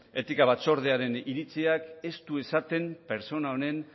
etika batzordearen iritziak ez du esaten pertsona honen